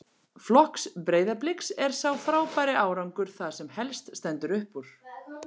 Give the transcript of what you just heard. Flokks Breiðabliks er sá frábæri árangur það sem helst stendur upp úr.